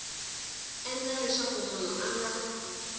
endla leswaku munhu a nga